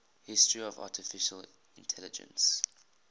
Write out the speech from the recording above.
history of artificial intelligence